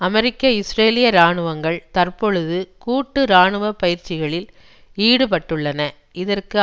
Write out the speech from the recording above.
அமெரிக்க இஸ்ரேலிய இராணுவங்கள் தற்பொழுது கூட்டு இராணுவ பயிற்சிகளில் ஈடுபட்டுள்ளன இதற்கு